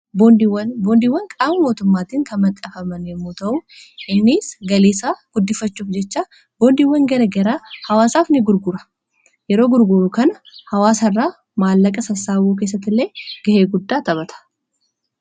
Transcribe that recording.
Boondiiwwan. boondiwwan qaama mootummaatiin kan maxxanfaman yommuu ta'uu innis galii isaa guddifachuuf jecha boondiiwwan garagaraa hawaasaaf ni gurgura yeroo gurguru kana hawaasa irraa maallaqa sassaabuu keessati illee gahee guddaa taphata.